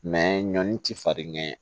ɲɔni ti farin ɲɛ